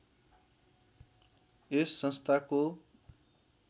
यस संस्थाको